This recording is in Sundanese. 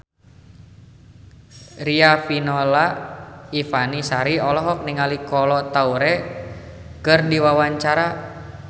Riafinola Ifani Sari olohok ningali Kolo Taure keur diwawancara